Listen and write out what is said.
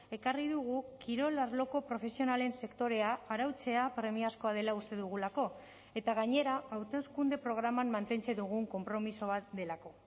ekarri dugu kirol arloko profesionalen sektorea arautzea premiazkoa dela uste dugulako eta gainera hauteskunde programan mantentze dugun konpromiso bat delako